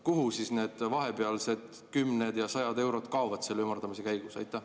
Kuhu need vahepealsed kümned ja sajad eurod kaovad selle ümardamise käigus?